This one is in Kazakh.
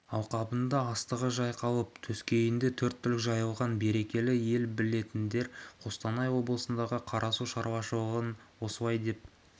алқабында астығы жайқалып төскейінде төрт түлік жайылған берекелі ел білетіндер қостанай облысындағы қарасу шаруашылығын осылай деп